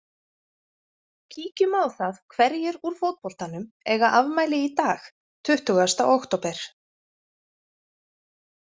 Kíkjum á það hverjir úr fótboltanum eiga afmæli í dag tuttugasta október.